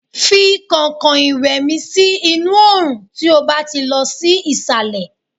fi kankan iwe mi sí inú orun tí o ba ti lọ sí isale